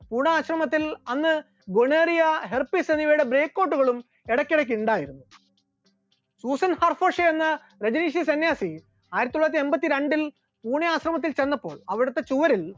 കൂടെ ആശ്രമത്തിൽ അന്ന് ഗൊണേറിയ, ഹെർപ്പിസ് എന്നിവരുടെ boycoat കളും ഇടക്കിടക്ക് ഉണ്ടായിരുന്നു, സൂസൻ ഹാർക്കോഷി എന്ന രജനീഷ സന്യാസി ആയിരത്തിത്തൊള്ളായിരത്തി എൺപത്തി രണ്ടിൽ പൂനെ ആശ്രമത്തിൽ ചെന്നപ്പോൾ അവിടുത്തെ ചുവരിൽ